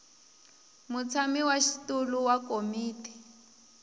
mutshami wa xitulu wa komiti